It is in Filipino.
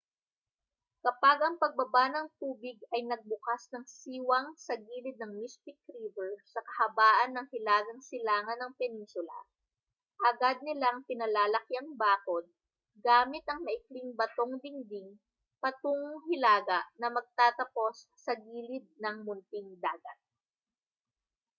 kapag ang pagbaba ng tubig ay nagbukas ng siwang sa gilid ng mystic river sa kahabaan ng hilagang silangan ng peninsula agad nilang pinalalaki ang bakod gamit ang maikling batong dingding patungong hilaga na magtatapos sa gilid ng munting dagat